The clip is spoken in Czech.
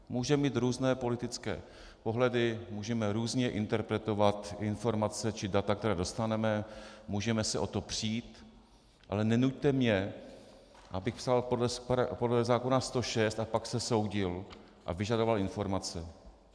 Můžeme mít různé politické pohledy, můžeme různě interpretovat informace či data, která dostaneme, můžeme se o to přijít, ale nenuťte mě, abych psal podle zákona 106 a pak se soudil a vyžadoval informace.